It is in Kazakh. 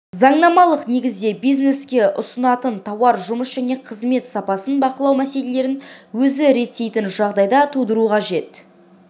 заңнамалық негізде бизнеске ұсынатын тауар жұмыс және қызмет сапасын бақылау мәселелерін өзі реттейтін жағдай тудыру қажет